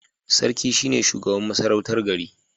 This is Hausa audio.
Sarki shine shugaban masarautar gari